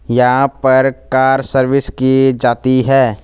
यहां पर car service की जाती है।